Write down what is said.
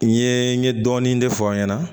N ye n ye dɔɔnin de fɔ n ɲɛna